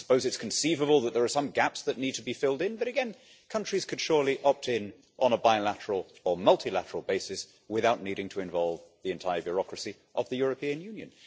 I suppose it is conceivable that there are some gaps that need to be filled in. But again countries could surely opt in on a bilateral or multilateral basis without needing to involve the entire bureaucracy of the European Union?